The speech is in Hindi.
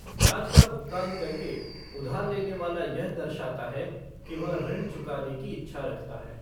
ब्याज का भुगतान करके, उधार लेने वाला यह दर्शाता है कि वह ऋण चुकाने की इच्छा रखता है।